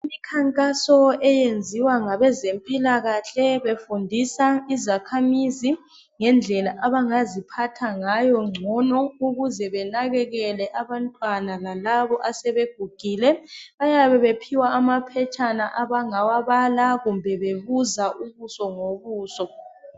Imikhankaso eyenziwa ngabezempilakahle befundisa izakhamizi ngendlela abangaziphatha ngayo ngcono ukuze benakekele abantwana lalabo asebegugile. Bayabe bephiwa amaphetshana abangawabala kumbe bebuza ubuso ngobuso.